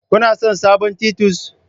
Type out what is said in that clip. Kuna son sabon titus?